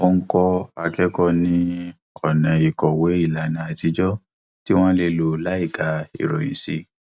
ó ń kọ akẹkọọ ní ọnà ìkọwé ìlànà àtijọ tí wọn lè lò láìka ìròyìn sí